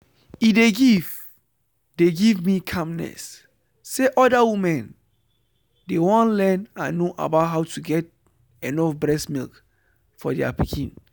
e dey give dey give me calmness say other women dey won learn and know about how to get enough breast milk for there pikin.